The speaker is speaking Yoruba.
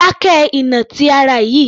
Dákẹ́ ìnà ti ara yìí